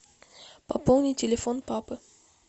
пополни телефон папы